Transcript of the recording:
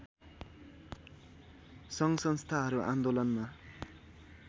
सङ्घसंस्थाहरू आन्दोलनमा